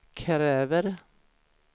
kräver